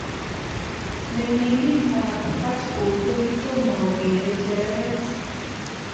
Menginik ap Hartlepool kokitoma kokeree chereret